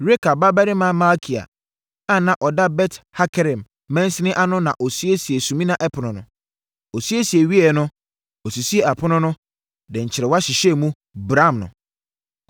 Rekab babarima Malkia a na ɔda Bet-Hakerem mansini ano no na ɔsiesiee Sumina Ɛpono no. Ɔsiesie wieeɛ no, ɔsisii apono no, de nkyerewa hyehyɛɛ mu, bramm no.